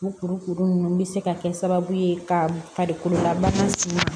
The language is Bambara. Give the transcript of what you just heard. U kuru kuru ninnu bɛ se ka kɛ sababu ye ka farikolola bana sin